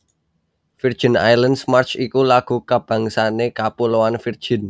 Virgin Islands March iku lagu kabangsané Kapuloan Virgin